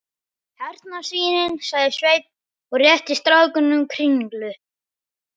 Hérna svínin, sagði Sveinn og rétti strákunum kringlu.